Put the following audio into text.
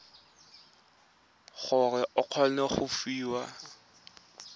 gore o kgone go fiwa